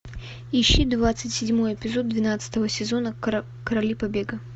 ищи двадцать седьмой эпизод двенадцатого сезона короли побега